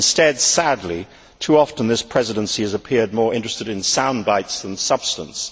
Instead, sadly, too often, this Presidency has appeared more interested in sound bites than substance.